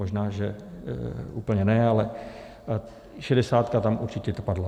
Možná že úplně ne, ale šedesátka tam určitě padla.